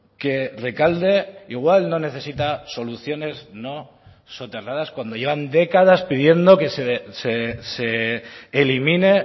que rekalde igual no necesita soluciones no soterradas cuando llevan décadas pidiendo que se elimine